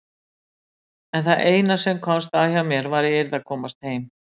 En það eina sem komst að hjá mér var að ég yrði að komast heim.